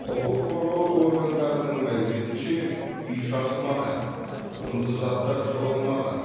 құқыққорғау органдарының мәліметінше үй шашылмаған құнды заттар жоғалмаған